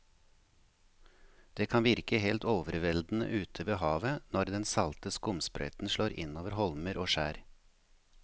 Det kan virke helt overveldende ute ved havet når den salte skumsprøyten slår innover holmer og skjær.